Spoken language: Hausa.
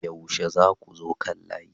yaushe zakuzo kan layi?